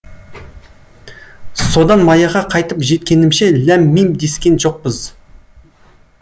содан маяға қайтып жеткенімше ләм мим дескен жоқпыз